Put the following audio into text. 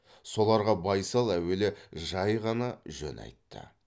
соларға байсал әуелі жай ғана жөн айтты